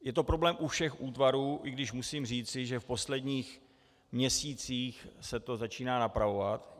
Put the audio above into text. Je to problém u všech útvarů, i když musím říci, že v posledních měsících se to začíná napravovat.